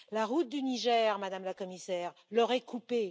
La route du Niger, Madame la Commissaire, leur est coupée.